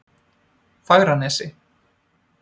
Fagranesi